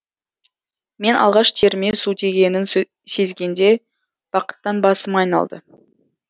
мен алғаш теріме су тигенін сезгенде бақыттан басым айналды